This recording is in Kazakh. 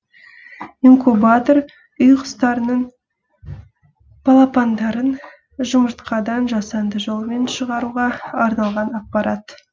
инкубатор үй құстарының балапандарын жұмыртқадан жасанды жолмен шығаруға арналған аппарат